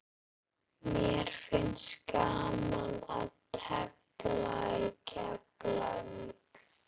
Mér finnst gaman að tefla í Keflavík.